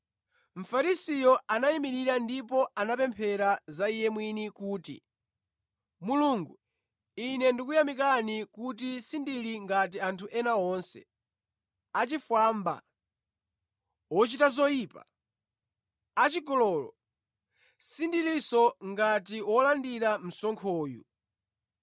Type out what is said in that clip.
Mfarisiyo anayimirira ndipo anapemphera za iye mwini kuti, ‘Mulungu, ine ndikuyamika kuti sindili ngati anthu ena onse, achifwamba, ochita zoyipa, achigololo, sindilinso ngati wolandira msonkhoyu.